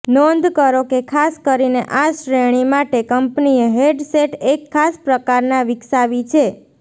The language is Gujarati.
નોંધ કરો કે ખાસ કરીને આ શ્રેણી માટે કંપનીએ હેડસેટ એક ખાસ પ્રકાર વિકસાવી છે